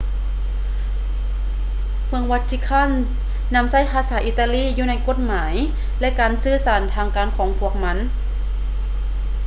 ເມືອງ vatican ນຳໃຊ້ພາສາອິຕາລີຢູ່ໃນກົດໝາຍ ແລະ ການສື່ສານທາງການຂອງພວກມັນ